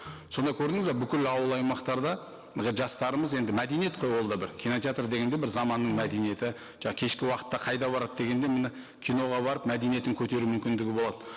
сонда көрдіңіз бе бүкіл ауыл аймақтарда жастарымыз енді мәдениет қой ол да бір кинотеатр деген де бір заманның мәдениеті кешкі уақытта қайда барады дегенде міне киноға барып мәдениетін көтеру мүмкіндігі болады